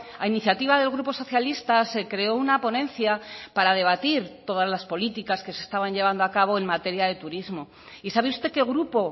a iniciativa del grupo socialista se creó una ponencia para debatir todas las políticas que se estaban llevando a cabo en materia de turismo y sabe usted qué grupo